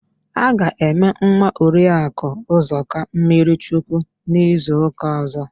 A ga-eme nwa Oriakụ Ụzọka mmirichukwu n'izuụ́kà ọ̀zọ́.